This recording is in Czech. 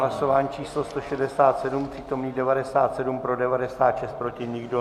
Hlasování číslo 167, přítomných 97, pro 96, proti nikdo.